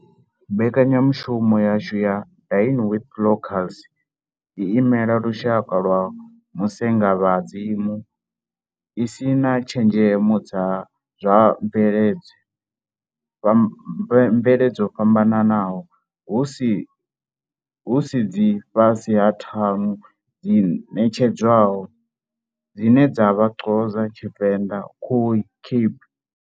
Mbekanyamushumo yashu ya Dine with Locals i imela lushaka lwa musengavhadzi mu, i si na tshenzhemo dza zwa mvelele dzo fhambanaho dzi si fhasi ha ṱhanu dzi ṋetshedzwaho, dzine dza vha Xhosa, Venda, Khoi, Cape.